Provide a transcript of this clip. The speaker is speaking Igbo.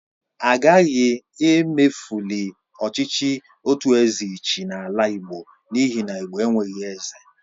Agaghị emefuli ọchịchị otu eze ịchị n'ala igbo n'ihi na igbo enweghị eze